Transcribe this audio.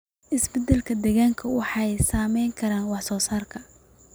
Isbeddellada deegaanka waxay saameyn karaan wax soo saarka.